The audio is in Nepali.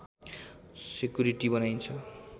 सेकुरिटी बनाइन्छ